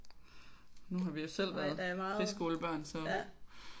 Nu har vi jo selv været friskolebørn